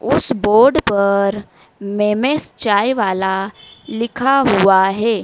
उस बोर्ड पर मेमेंस चाय वाला लिखा हुआ है।